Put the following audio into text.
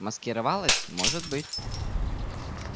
маскировалась может быть